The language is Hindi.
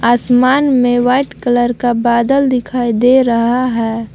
आसमान में व्हाइट कलर का बादल दिखाई दे रहा है।